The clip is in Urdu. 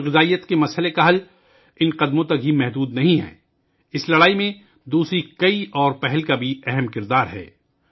تغذیہ کی کمی کے مسئلے کا حل صرف ان اقدامات تک محدود نہیں ہے اس لڑائی میں بہت سے دوسرے اقدامات بھی اہم کردار ادا کرتے ہیں